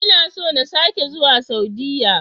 Ina son na sake zuwa Saudiya.